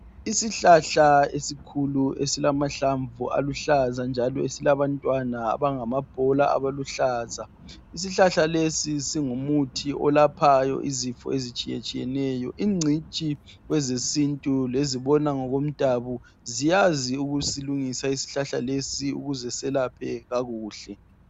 Isihlahla esikhulu njalo esilamahlamvu aluhlaza, njalo esilabantwana abangama bhola aluhlaza, isihlahla lesi singu muthi oyelaphayo izifo ezitshiyeneyo ingcitshi kwezesintu lomdabu ziyazi ukusilungisa isihlahla lesi ukize selaphe kakuhle.